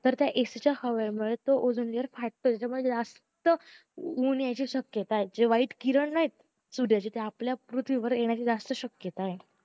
त्या ac च्या हवेमुळे तो ozen layer फातोय त्यामुळे जास्त ऊन येयची शक्यता जे वाईट किरण ते आपल्या पृथ्वीवर येण्याची जास्त शक्यताय